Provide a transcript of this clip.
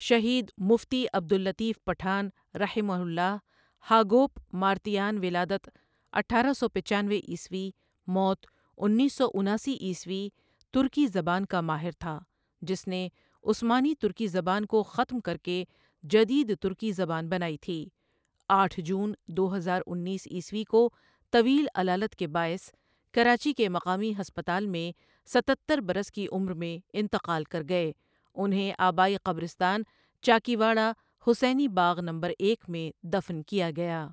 شھید مفتی عبداللـطیف پٹھان رحمہ اللہ Hagop Martayan ولادت اٹھارہ سو پچانوے عیسوی، موت انیس سو اناسی عیسوی ترکی زبان کا ماہر تھا جس نے عثمانی ترکی زبان کو ختم کر کے جدید ترکی زبان بنائی تھی آٹھ جون دو ہزار انیس عیسوی کو طویل علالت کے بائس کراچی کے مقامی ہسپتال میں ستتر برس کی عمر میں انتقال کر گئے انہیں آبائی قبرستان چاکیواڑہ حسینی باغ نمبر ایک میں دفن کیا گیا